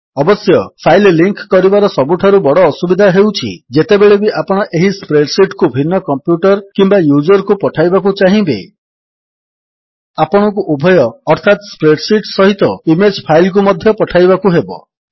ଅବଶ୍ୟ file link କରିବାର ସବୁଠାରୁ ବଡ଼ ଅସୁବିଧା ହେଉଛି ଯେତେବେଳେବି ଆପଣ ଏହି ସ୍ପ୍ରେଡ୍ ଶୀଟ୍ କୁ ଭିନ୍ନ କମ୍ପ୍ୟୁଟର୍ କିମ୍ୱା ୟୁଜର୍ କୁ ପଠାଇବାକୁ ଚାହିଁବେ ଆପଣଙ୍କୁ ଉଭୟ ଅର୍ଥାତ୍ ସ୍ପ୍ରେଡ୍ ଶୀଟ୍ ସହିତ ଇମେଜ୍ ଫାଇଲ୍ କୁ ମଧ୍ୟ ପଠାଇବାକୁ ହେବ